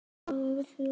Hér er hún aldrei veik.